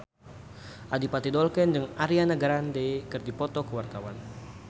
Adipati Dolken jeung Ariana Grande keur dipoto ku wartawan